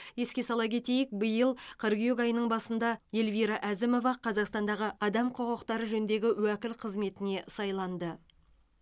еске сала кетейік биыл қыркүйек айының басында эльвира әзімова қазақстандағы адам құқықтары жөніндегі уәкіл қызметіне сайланды